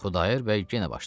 Xudayar bəy yenə başladı.